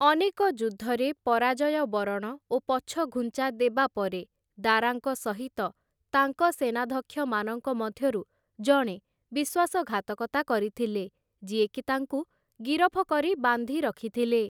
ଅନେକ ଯୁଦ୍ଧରେ, ପରାଜୟ ବରଣ ଓ ପଛଘୁଞ୍ଚା ଦେବା ପରେ, ଦାରାଙ୍କ ସହିତ ତାଙ୍କ ସେନାଧ୍ୟକ୍ଷମାନଙ୍କ ମଧ୍ୟରୁ ଜଣେ ବିଶ୍ୱାସଘାତକତା କରିଥିଲେ, ଯିଏକି ତାଙ୍କୁ ଗିରଫ କରି ବାନ୍ଧି ରଖିଥିଲେ ।